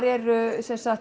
eru